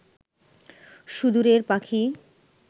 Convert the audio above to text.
সুদূরের পাখি